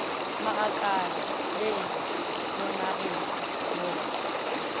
magakala le la monagedi mo